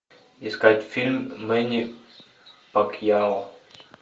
искать фильм мэнни пакьяо